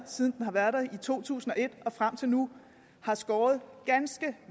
siden to tusind og et og frem til nu har skåret ganske